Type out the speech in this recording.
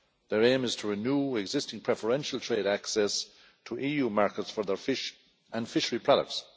Their aim is to renew existing preferential trade access to EU markets for their fish and fishery products.